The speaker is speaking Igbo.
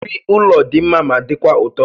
Nri ụlọ dị mma ma dịkwa ụtọ